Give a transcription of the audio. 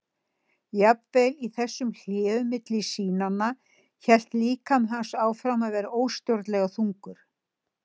Jafnvel í þessum hléum milli sýnanna hélt líkami hans áfram að vera óstjórnlega þungur.